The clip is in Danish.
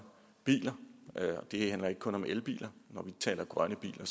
biler og det handler ikke kun om elbiler når vi taler grønne biler